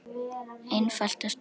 einfalt og sterkt.